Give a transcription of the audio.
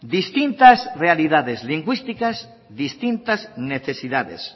distintas realidades lingüísticas distintas necesidades